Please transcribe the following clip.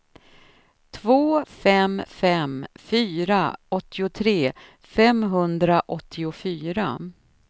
två fem fem fyra åttiotre femhundraåttiofyra